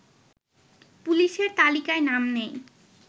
পুলিশের তালিকায় নাম নেই